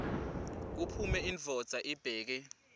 kuphume indvodza ibheke